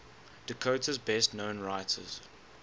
dakota's best known writers